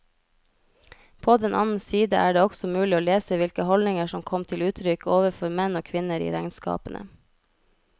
På den annen side er det også mulig å lese hvilke holdninger som kom til uttrykk overfor menn og kvinner i regnskapene.